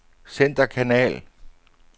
centerkanal